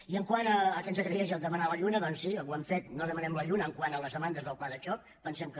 i quant al fet que ens agraeix demanar la lluna doncs sí ho hem fet no demanem la lluna quant a les demandes del pla de xoc pensem que